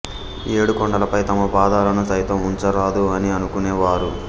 ఏడు కొండలపై తమ పాదాలను సైతం ఉంచ రాదు అని అనుకునె వారు